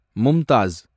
Mumtaz